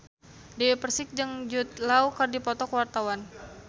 Dewi Persik jeung Jude Law keur dipoto ku wartawan